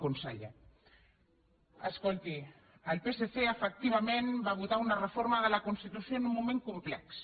conseller escolti el psc efectivament va votar una reforma de la constitució en un moment complex